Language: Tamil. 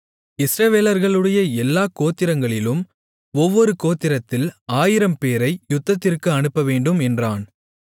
இஸ்ரவேலர்களுடைய எல்லாக் கோத்திரங்களிலும் ஒவ்வொரு கோத்திரத்தில் 1000 பேரை யுத்தத்திற்கு அனுப்பவேண்டும் என்றான்